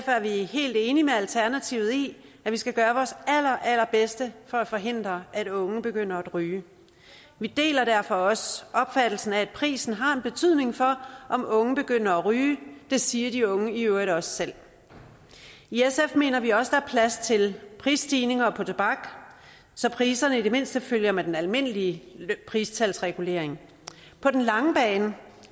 vi helt enige med alternativet i at vi skal gøre vores allerallerbedste for at forhindre at unge begynder at ryge vi deler derfor også opfattelsen af at prisen har en betydning for om unge begynder at ryge det siger de unge i øvrigt også selv i sf mener vi også at der er plads til prisstigninger på tobak så priserne i det mindste følger med den almindelige pristalsregulering på den lange bane